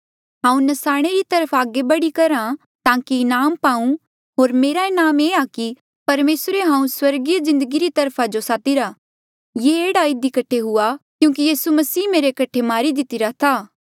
हांऊँ न्साणे री तरफ आगे बड़ी करहा ताकि इनाम पाऊं होर मेरा इनाम ये आ कि परमेसरे हांऊँ स्वर्गीय जिन्दगी वखा जो सादिरा ये एह्ड़ा इधी कठे हुआ क्यूंकि यीसू मसीह मेरे कठे मारी दितिरा था